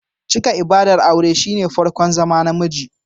Cika ibadar aure shine farkon zama Namiji